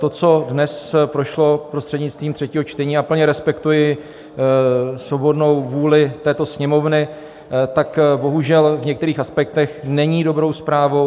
To, co dnes prošlo prostřednictvím třetího čtení - já plně respektuji svobodnou vůli této Sněmovny - tak bohužel v některých aspektech není dobrou zprávou.